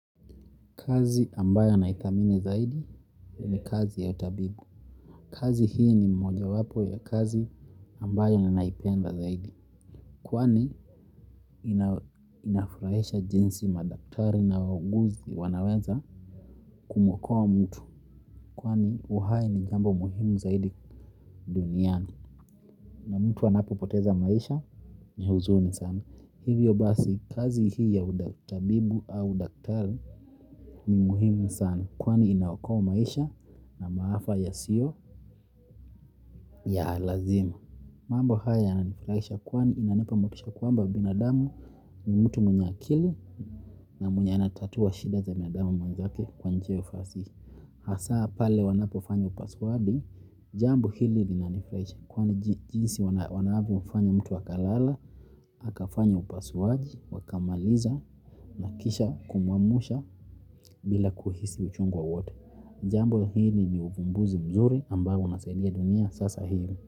Kazi ambayo anaidhamini zaidi ni kazi ya utabibu. Kazi hii ni mmoja wapo ya kazi ambayo ninaipenda zaidi. Kwani inafurahisha jinsi madaktari na wauguzi wanaweza kumwokoa mtu. Kwani uhai ni jambo muhimu zaidi duniani. Na mtu anapo poteza maisha ni huzuni sana. Hivyo basi kazi hii ya utabibu au udaktari ni muhimu sana. Kwani inaokoa maisha na maafa ya sio ya lazima. Mambo haya yananifurahisha kwani inanipamotisha kwamba binadamu ni mtu mwenye akili na mwenye anatatua shida za mwanadamu mwenzake kwa njia ya ufasihi. Hasa pale wanapo fanyo upasuaji, jambo hili linanifurahisha kwani jinsi wanavyo fanya mtu akalala, akafanya upasuaji, wakamaliza, nakisha, kumwamsha bila kuhisi uchungwa wowote. Jambo hili ni uvumbuzi mzuri ambao unasaidia dunia sasa hivi.